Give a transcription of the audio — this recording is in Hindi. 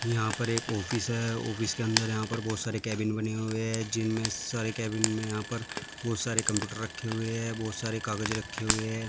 यहाँ पर एक ऑफिस है ऑफिस के अंदर यहाँ पर बहुत सारे कैबिन बने हुए हैं जिनमें सारे कैबिन में यहाँ पर बहुत सारे कंप्यूटर रखे हुए हैं बहुत सारे कागज रखे हुए है।